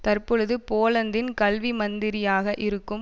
தற்பொழுது போலந்தின் கல்வி மந்திரியாக இருக்கும்